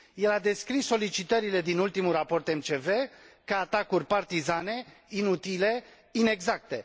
El a descris solicitările din ultimul raport MCV ca atacuri partizane, inutile, inexacte.